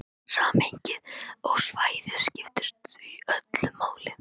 Samhengið og svæðið skiptir því öllu máli.